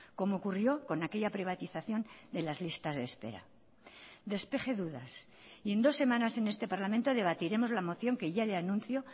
como ocurrió con aquella privatización de las listas de espera despeje dudas y en dos semanas en este parlamento debatiremos la moción que ya le anuncio